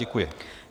Děkuji.